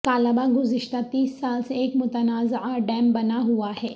کالا باغ گزشتہ تیس سال سے ایک متنازعہ ڈیم بنا ہوا ہے